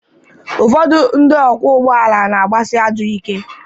Ụfọdụ ndị ọkwọ ụgbọ ala na-agbasị ajọọ ike.